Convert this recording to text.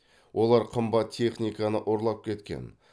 олар қымбат техниканы ұрлап кеткен